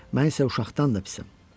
Mən isə uşaqdan da pisəm.